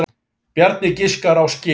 Bjarni giskar á skel.